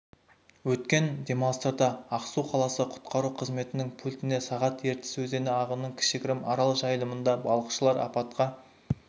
өткен демалыстарда ақсу қаласы құтқару қызметінің пультіне сағат ертіс өзені ағынының кішігірім арал жайылымында балықшылар апатқа